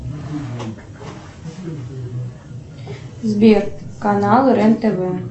сбер канал рен тв